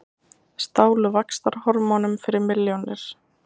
Stálu vaxtarhormónum fyrir milljónir